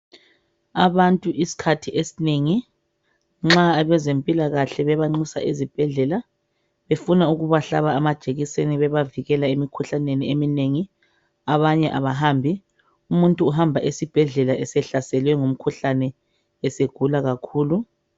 Abantu isikhathi esinengi nxa abezempilakahle bebanxusa ezibhendlela befuna ukubahlaba amajekiseni bebavikela imikhuhlaneni eminengi abanye abahambi umuntu uhamba esibhedlela esehlaselwe ngumkhuhlane esegula kakhulu